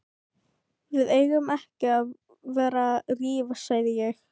Við eigum ekki að vera að rífast sagði ég.